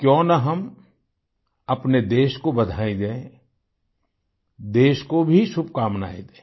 क्यों न हम अपने देश को बधाई दें देश को भी शुभकामनाएं दें